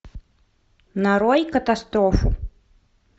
нарой катастрофу